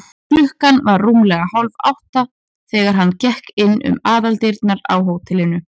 Klukkan var rúmlega hálfátta, þegar hann gekk inn um aðaldyrnar á hótelinu.